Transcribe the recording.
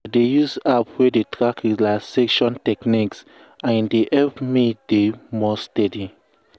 i dey use app wey dey track relaxation techniques and e dey help me dey more steady.